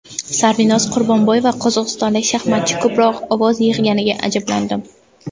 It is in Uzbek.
Sarvinoz Qurbonboyeva: Qozog‘istonlik shaxmatchi ko‘proq ovoz yig‘ganiga ajablandim.